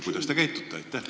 Kuidas te käitute?